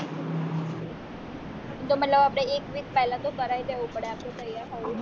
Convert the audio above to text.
તો મતલબ આપણે એક week પેહલા તો કરાવી લેવું પડે આપણે ત્યાર થવું પડે